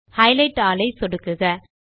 highlight all ஐ சொடுக்குக